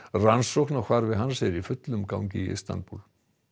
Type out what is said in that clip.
rannsókn á hvarfi hans er í fullum gangi í Istanbúl